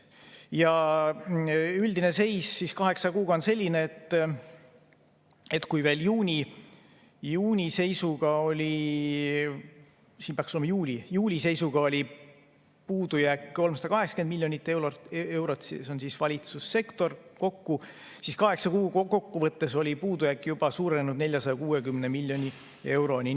Ja üldine seis kaheksa kuuga on selline, et kui veel juuli seisuga oli puudujääk 380 miljonit eurot – see on siis valitsussektor kokku –, siis kaheksa kuu kokkuvõttes oli puudujääk juba suurenenud 460 miljoni euroni.